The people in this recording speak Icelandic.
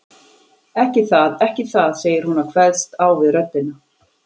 Ekki það, ekki það, segir hún og kveðst á við röddina.